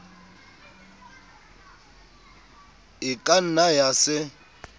e ka nna ya se